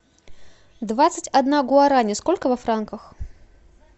двадцать одна гуарани сколько во франках